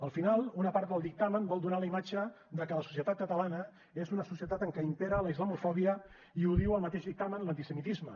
al final una part del dictamen vol donar la imatge de que la societat catalana és una societat en què imperen la islamofòbia i ho diu el mateix dictamen l’antisemitisme